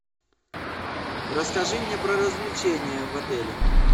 расскажи мне про развлечения в отеле